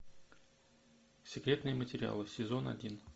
секретные материалы сезон один